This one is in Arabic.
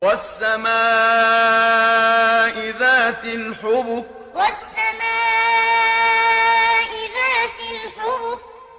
وَالسَّمَاءِ ذَاتِ الْحُبُكِ وَالسَّمَاءِ ذَاتِ الْحُبُكِ